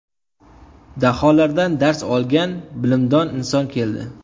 Daholardan dars olgan Bilimdon inson keldi!